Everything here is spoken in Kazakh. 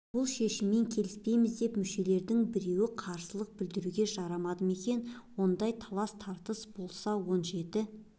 бұл шешіммен келіспейміз деп мүшелерінің біреуі қарсылық білдіруге жарады ма екен ондай талас-тартыс болса он жеті